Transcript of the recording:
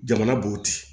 Jamana b'o ten